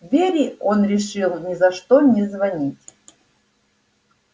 вере он решил ни за что не звонить